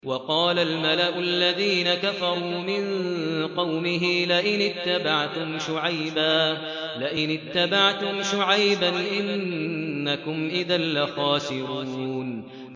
وَقَالَ الْمَلَأُ الَّذِينَ كَفَرُوا مِن قَوْمِهِ لَئِنِ اتَّبَعْتُمْ شُعَيْبًا إِنَّكُمْ إِذًا لَّخَاسِرُونَ